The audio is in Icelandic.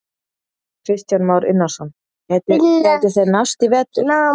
Kristján Már Unnarsson: Gætu, gætu þeir nást í vetur?